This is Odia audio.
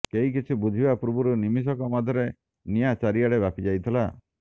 କେହି କିଛି ବୁଝିବା ପୂର୍ବରୁ ନିମିଷକ ମଧ୍ୟରେ ନିଆଁ ଚାରି ଆଡ଼େ ବ୍ୟାପି ଯାଇଥିଲା